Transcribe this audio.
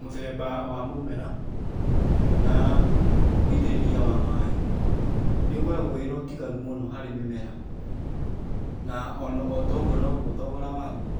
Mũthemba wa mũmera na ũitĩrĩria wa maaĩ nĩ ũkoragwo wĩ na ũtiganu mũno harĩ mĩmera. Na otoguo no noguo thogora wa guo